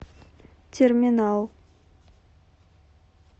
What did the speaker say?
терминал